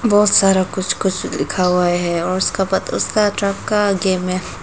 बहुत सारा कुछ कुछ लिखा हुआ है और उसका पता उसका ट्रक का गेम है।